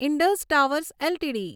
Indus Towers LTD